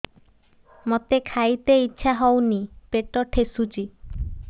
ମୋତେ ଖାଇତେ ଇଚ୍ଛା ହଉନି ପେଟ ଠେସୁଛି